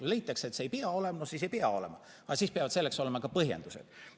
Kui leitakse, et see ei pea seal olema, siis ei pea olema, aga siis peavad sellele olema ka põhjendused.